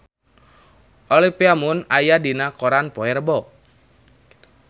Olivia Munn aya dina koran poe Rebo